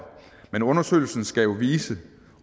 men undersøgelsen skal jo vise